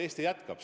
Eesti jätkab.